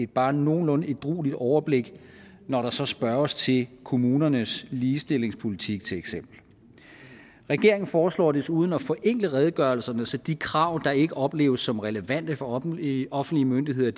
bare nogenlunde ædrueligt overblik når der så spørges til kommunernes ligestillingspolitik til eksempel regeringen foreslår desuden at forenkle redegørelserne så de krav der ikke opleves som relevante for offentlige offentlige myndigheder